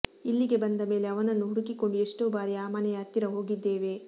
ಇಲ್ಲಿಗೆ ಬಂದ ಮೇಲೆ ಅವನನ್ನು ಹುಡುಕಿಕೊಂಡು ಎಷ್ಟೋ ಬಾರಿ ಆ ಮನೆಯ ಹತ್ತಿರ ಹೋಗಿದ್ದೇವೆ